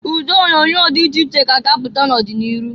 Ụdị onyoonyo dị iche iche ka a ga-apụta n'ọdị n'iru.